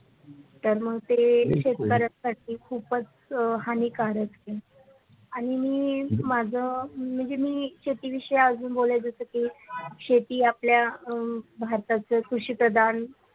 तर मग ते शेतकऱ्यांसाठी खुपच अ हानिकारक आहे आणि मी माझ म्हणजे मी शेती विषय अजून बोलायचं जस की ते शेती आपल्या अ उम्म भारताच कृषिप्रदान.